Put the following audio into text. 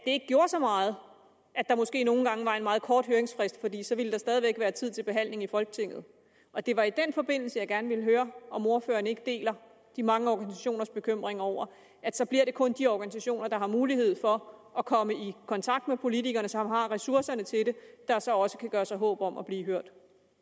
ikke gjorde så meget at der måske nogle gange var meget kort høringsfrist for der ville stadig væk være tid til behandling i folketinget og det var i den forbindelse jeg gerne ville høre om ordføreren ikke deler de mange organisationers bekymring over at så bliver det kun de organisationer der har mulighed for at komme i kontakt med politikerne og som har ressourcerne til det der så også kan gøre sig håb om at blive hørt